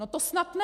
No to snad ne!